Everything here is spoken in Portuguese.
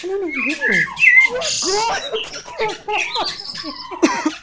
Falei, Nenê, e agora o que que eu vou fazer?